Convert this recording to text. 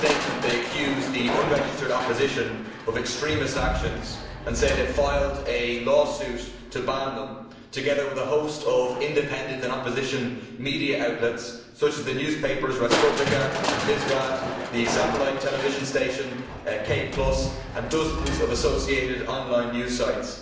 In this statement they accuse the unregistered opposition of extremist actions and say they filed a lawsuit to ban them, together with a host of independent and media outlets such as the newspapers Respublika and Vzglyad, the satellite television station K and dozens of associated online news sites.